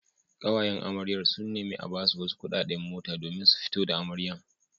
Ƙawayen amaryar sun nemi a basu wasu kuɗaɗe mota domin fito da amaryar.